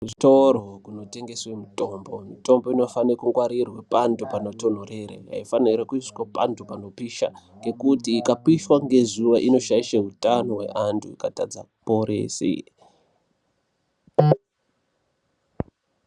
Kuzvitoro kunotengeswe mitombo, mitombo inofane kungwarirwe pantu panotonhorere, haifaniri kuiswa pantu panopisha, ngekuti ikapishwa ngezuwa inoshaisha utano hweanthu, ikatadza kuporese.